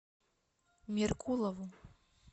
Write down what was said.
меркулову